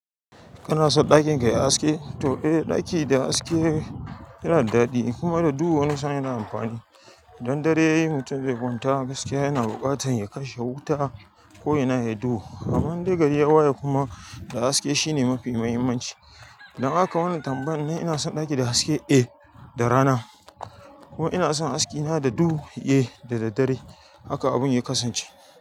Kana son ɗakin ka ya yi haske? To in ɗaki da haske yana da daɗi in kuma da duhu wani sa'in yana da amfani dan dare yayi mutum zai kwanta gaskiya yana buƙatar ya kashe wuta ko yana yaɗo. Amman dai gari ya waye kuma da haske shine mafi muhimmanci. Idan aka yi wannan tambayar nan ina son ɗaki da haske? Eh, da rana. Ko ina son haske na da duhu? Eh, daddare. Haka abun ya kasance.